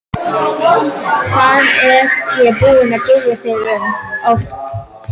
Hvað er ég búinn að biðja þig oft fyrirgefningar?